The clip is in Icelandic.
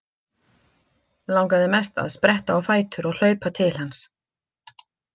Langaði mest að spretta á fætur og hlaupa til hans.